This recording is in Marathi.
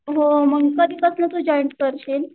हो मग कधीपासून तू जॉईन करशील?